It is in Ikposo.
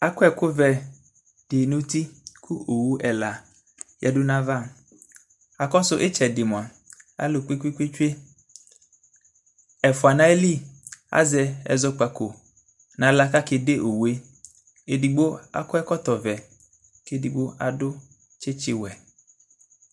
akɔ ɛku vɛ du nu uti ku owu ɛla yadu nu ayava akɔ su itchɛdi moa alu kpékpékpé tsué ɛfoa na yili azɛ ɛzɔkpako na xlă ka ké dé owue edigbo akɔ ɛkɔtɔ vɛ ké édigbo adu tchitchi wɛ